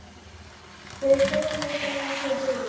Þau föðmuðust á meðan þau biðu.